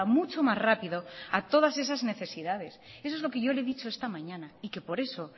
mucho más rápido a todas esas necesidades eso es lo que yo le he dicho esta mañana y por eso